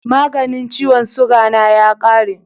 maganin ciwon suga na ya kare